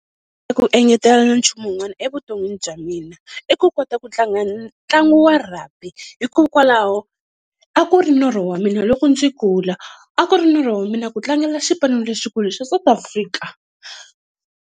Ku engetela nchumu wun'wana evuton'wini bya mina, i ku kota ku tlanga ntlangu wa Rugby hikokwalaho a ku ri norho wa mina loko ndzi kula a ku ri norho wa mina ku tlangela xipano lexikulu xa South Africa.